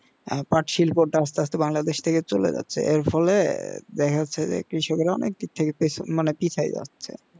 আর পাট শিল্পতা আস্তে আস্তে বাংলাদেশ থেকে চলে যাচ্ছে এর ফলে দেখা যাচ্ছে যে কৃষকরা অনেক দিক থেকে মানে পিছিয়ে যাচ্ছে